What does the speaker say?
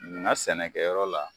munna sɛnɛkɛyɔrɔ la